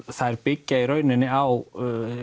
þær byggja í rauninni á